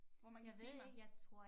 Hvor mange timer